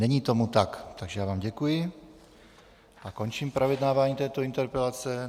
Není tomu tak, takže já vám děkuji a končím projednávání této interpelace.